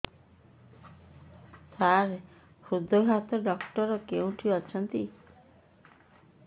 ସାର ହୃଦଘାତ ଡକ୍ଟର କେଉଁଠି ଅଛନ୍ତି